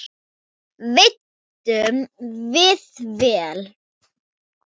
Veiddum við vel.